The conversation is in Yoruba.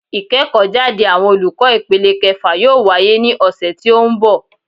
Ìkéèkó jáde àwọn olùkó ìpele kefà yóò wáyé ní òsè tí ó n bò